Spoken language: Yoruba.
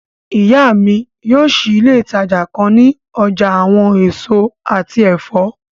Iya mi yóò ṣii ile itaja kan ni ọja awọn eso ati ẹfọ